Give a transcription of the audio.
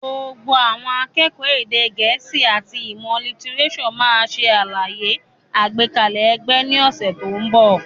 Gbogbo àwọn akẹ́kọ̀ọ́ èdè gẹ̀ẹ́sì àti ìmọ̀ lítírésọ̀ máa ṣe àlàyé àgbékalẹ̀ ẹgbẹ́ ní ọ̀sẹ̀ tó ń bọ̀.